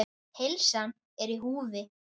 Heilsan er í húfi.